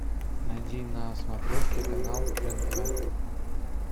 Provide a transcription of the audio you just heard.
найди на смотрешке канал рен тв